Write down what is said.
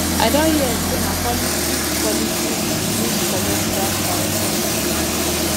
i don hear sey na politics politics im use collect dat director position